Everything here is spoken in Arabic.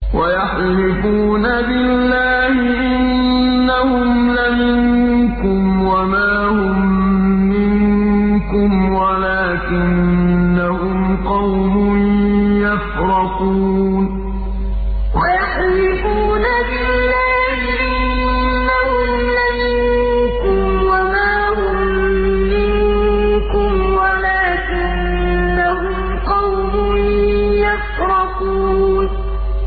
وَيَحْلِفُونَ بِاللَّهِ إِنَّهُمْ لَمِنكُمْ وَمَا هُم مِّنكُمْ وَلَٰكِنَّهُمْ قَوْمٌ يَفْرَقُونَ وَيَحْلِفُونَ بِاللَّهِ إِنَّهُمْ لَمِنكُمْ وَمَا هُم مِّنكُمْ وَلَٰكِنَّهُمْ قَوْمٌ يَفْرَقُونَ